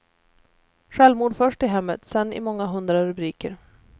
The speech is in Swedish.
Självmord först i hemmet, sen i många hundra rubriker.